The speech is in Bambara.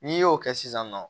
N'i y'o kɛ sisan nɔ